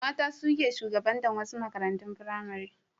Mata su ke shugabatar wasu makarantun firamare.